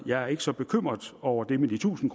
jeg er ikke så bekymret over det med de tusind